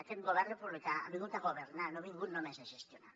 aquest govern republicà ha vingut a governar no ha vingut només a gestionar